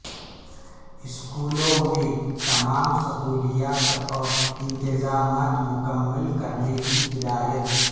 اسکولوں میں تمام سہولیات اور انتظامات مکمل کرنے کی ہدایت